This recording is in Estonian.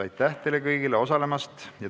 Aitäh teile kõigile osalemast!